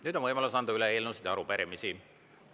Nüüd on võimalus anda üle eelnõusid ja arupärimisi.